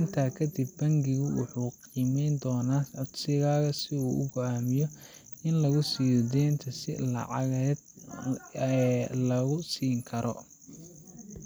Intaa kadib, bangigu wuxuu qiimeyn doonaa codsigaaga si uu u go'aamiyo in lagu siiyo deynta iyo inta lacageed ee lagu siin karo.